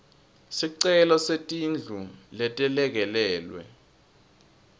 sicelo setindlu letelekelelwe